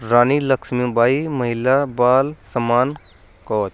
रानी लक्ष्मी बाई महिला बाल सम्मान कोच --